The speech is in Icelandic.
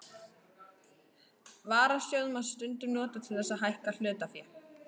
Varasjóð má stundum nota til þess að hækka hlutafé.